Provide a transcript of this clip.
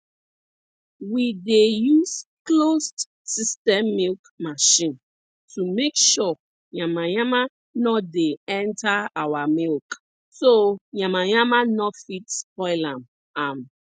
we dey use closed system milk machine to make sure yamayama nor dey enta our milk so yamayama nor fit spoil am am